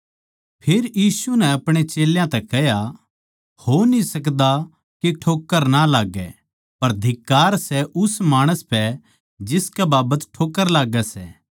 फेर यीशु नै अपणे चेल्यां तै कह्या हो न्ही सकदा के ठोक्कर ना लाग्गै पर धिक्कार सै उस माणस पै जिसकै बाबत ठोक्कर लाग्गै सै